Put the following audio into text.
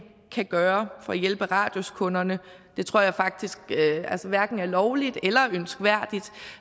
kan gøre for at hjælpe radiuskunderne det tror jeg faktisk hverken er lovligt eller ønskværdigt